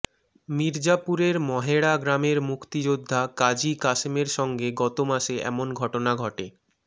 মির্জাপুরের মহেড়া গ্রামের মুক্তিযোদ্ধা কাজী কাশেমের সঙ্গে গত মাসে এমন ঘটনা ঘটে